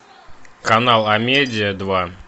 канал амедиа два